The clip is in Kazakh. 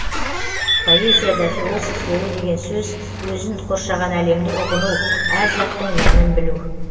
поэзияда философ болу деген сөз өзін қоршаған әлемді ұғыну әр заттың мәнін білу